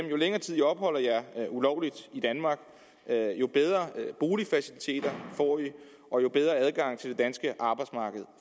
jo længere tid i opholder jer ulovligt i danmark jo bedre boligfaciliteter får i og jo bedre adgang til det danske arbejdsmarked